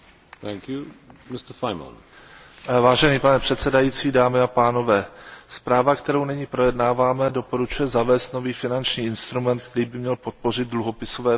Pane předsedající, zpráva, kterou nyní projednáváme, doporučuje zavést nový finanční instrument, který by měl podpořit dluhopisové financování infrastrukturních projektů.